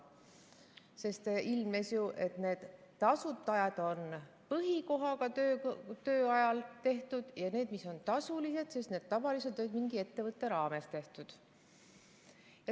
Sest ilmnes, et need tasuta ajad on põhikohaga töö ajal tehtud, aga need, mis on tasulised, on tavaliselt mingi ettevõtte raames tehtud.